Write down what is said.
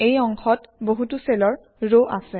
এই অংশত বহুতো চেলৰ ৰ আছে